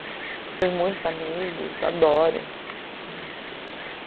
Fiz muitos amigos, adoro. E